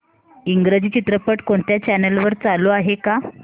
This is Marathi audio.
इंग्रजी चित्रपट कोणत्या चॅनल वर चालू आहे का